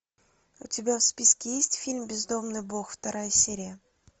у тебя в списке есть фильм бездомный бог вторая серия